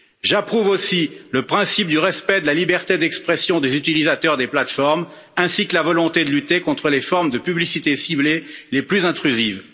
J'approuve aussi le principe du respect de la liberté d'expression des utilisateurs des plateformes, ainsi que la volonté de lutter contre les formes de publicité ciblée les plus intrusives.